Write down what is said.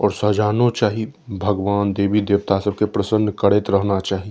और सजानो चाही भगवान देवी देवता सब के प्रसन्न करएत रहना चाही।